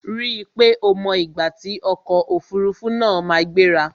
Ri pé o mọ ìgbà tí ọkò òfurufú na ma gbéra!